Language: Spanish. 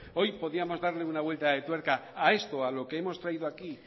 hoy podíamos darle una vuelta de tuerca a esto a lo que hemos traído aquí